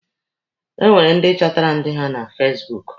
E nwere ndi chọtara dị ha na fasibuuku.